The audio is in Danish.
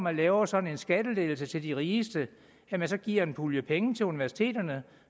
at lave sådan en skattelettelse til de rigeste giver en pulje penge til universiteterne